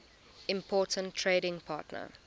important trading partner